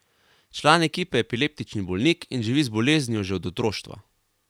Član ekipe je epileptični bolnik in živi z boleznijo že od otroštva.